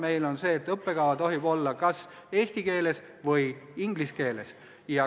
Meil on see, et õppekava tohib olla kas eesti keeles või inglise keeles.